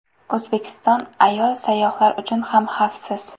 O‘zbekiston ayol sayyohlar uchun ham xavfsiz.